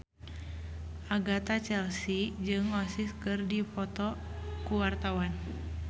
Agatha Chelsea jeung Oasis keur dipoto ku wartawan